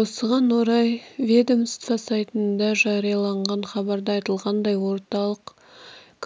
осыған орай ведомство сайтында жарияланған хабарда айтылғандай орталық